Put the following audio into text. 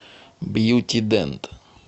бьюти дент